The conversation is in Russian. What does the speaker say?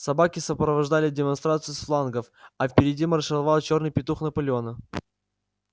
собаки сопровождали демонстрацию с флангов а впереди маршировал чёрный петух наполеона